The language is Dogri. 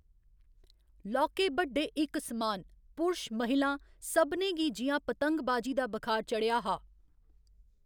लौह्‌‌‌के बड्डे इक समान, पुरश महिलां, सभनें गी जि'यां पतंगबाजी दा बखार चढ़ेआ हा।